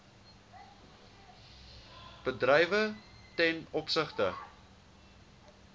bedrywe ten opsigte